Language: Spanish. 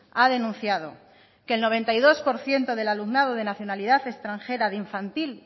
ha denunciado que el noventa y dos por ciento del alumnado de nacionalidad extranjera de infantil